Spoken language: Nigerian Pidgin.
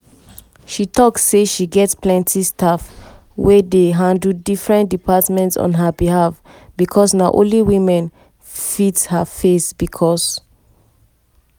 she tok say get plenti staff wey dey handle different departments on her behalf becos na only women fit her face becos